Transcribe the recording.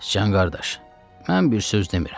Sıcan qardaş, mən bir söz demirəm.